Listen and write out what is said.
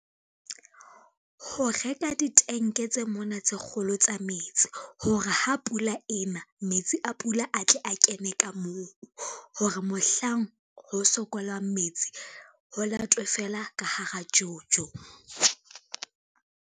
Ho reka ditenke tse mona tse kgolo tsa metsi, hore ha pula ena, metsi a pula a tle a kene ka moo hore mohlang ho sokolwang metsi ho latwe fela ka hara jojo.